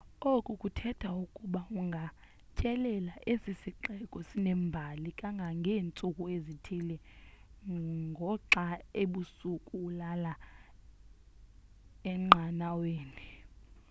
oku kuthetha ukuba ungatyelela esi sixeko sinembali kangangeentsuku ezithile ngoxa ebusuku ulala enqanaweni